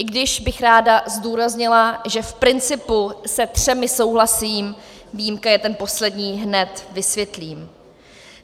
I když bych ráda zdůraznila, že v principu se všemi souhlasím, výjimka je ten poslední - hned vysvětlím.